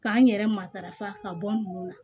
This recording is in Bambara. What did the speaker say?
K'an yɛrɛ matarafa ka bɔ nin na